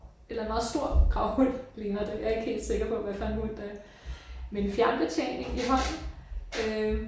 Eller en meget stor gravhund ligner det jeg er ikke helt sikker på hvad for en hund det er. Med en fjernbetjening i hånden øh